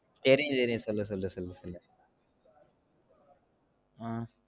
தெரியும் தெரியும் சொல்லு சொல்லு சொல்லுல ஆஹ்